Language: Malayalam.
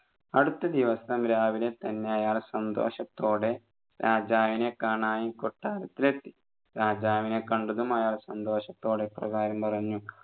അടുത്ത ദിവസം രാവിലെ തന്നെ അയാൾ സന്തോഷത്തോടെ രാജാവിനെ കാണാൻ കൊട്ടാരത്തിൽ എത്തി രാജാവിനെ കണ്ടതും അയാൾ സന്തോഷത്തോടെ ഇപ്രകാരം പറഞ്ഞു